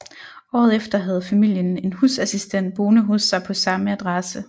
Året efter havde familien en husassistent boende hos sig på samme adresse